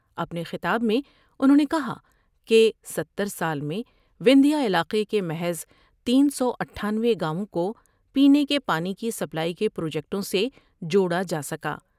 اپنے خطاب میں انہوں نے کہا کہ ستر سال میں وندھیہ علاقے کے محض تین سو اٹھانوے گاوؤں کو پینے کے پانی کی سپلائی کے پروجیکٹوں سے جوڑا جا سکا ۔